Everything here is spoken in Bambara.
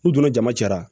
N'u donna jama cɛra